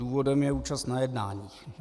Důvodem je účast na jednáních.